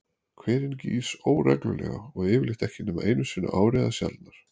Hverinn gýs óreglulega og yfirleitt ekki nema einu sinni á ári eða sjaldnar.